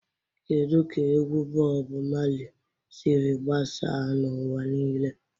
Kedu ka egwu Bob Marley siri gbasaa n'ụwa niile?